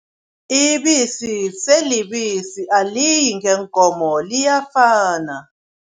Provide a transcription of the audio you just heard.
Ibisi selibisi, aliyi ngeenkomo, liyafana.